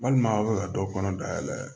Walima aw bɛ ka dɔ kɔnɔ dayɛlɛ